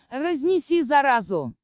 разнеси заразу